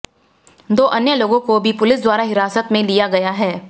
दो अन्य लोगों को भी पुलिस द्वारा हिरासत में लिया गया है